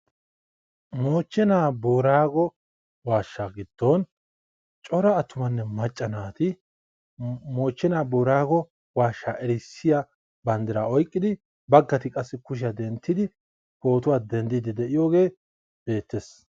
moochenaa booraago waashshaa giddon cora attuma naati moochenaa booraago waashshaa erissiya bandiraa oyqqidi eqqidosona.